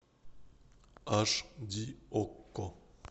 аш ди окко